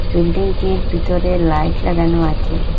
বিল্ডিংটির ভিতরে লাইট লাগানো আছে।